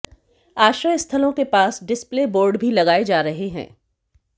आश्रय स्थलों के पास डिस्प्ले बोर्ड भी लगाए जा रहे हैं